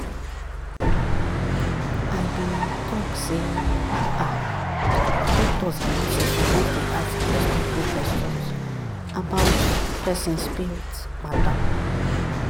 i be talk sey ah doctors and nurses suppose dey ask respectful questions about person spirit matter.